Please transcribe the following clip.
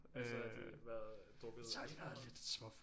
Altså har de hvad drukket alkohol?